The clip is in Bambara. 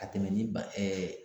A tɛmɛni ba